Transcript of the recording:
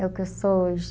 É o que eu sou hoje.